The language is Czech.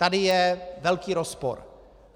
Tady je velký rozpor.